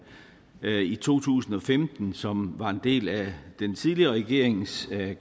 i to tusind og femten som var en del af den tidligere regerings